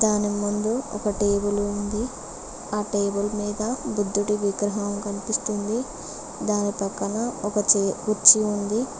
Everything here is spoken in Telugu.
దాని ముందు ఒక టేబుల్ ఉంది ఆ టేబుల్ మీద బుద్ధుడి విగ్రహం కనిపిస్తుంది దాని పక్కన ఒక చే కుర్చీ ఉంది.